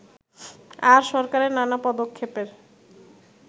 আর সরকারের নানা পদক্ষেপের